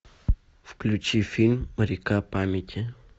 включи фильм река памяти